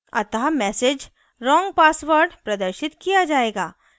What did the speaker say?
अतः message wrong password प्रदर्शित किया जायेगा